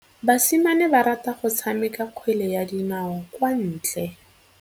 Basimane ba rata go tshameka kgwele ya dinaô kwa ntle.